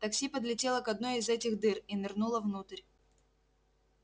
такси подлетело к одной из этих дыр и нырнуло внутрь